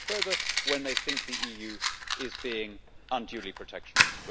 they can go further when they think the EU is being unduly protectionist